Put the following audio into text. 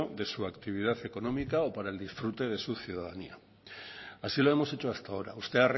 de su actividad económica o para el disfrute de su ciudadanía así lo hemos hecho hasta ahora usted